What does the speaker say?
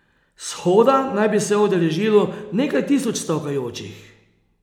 Shoda naj bi se udeležilo nekaj tisoč stavkajočih.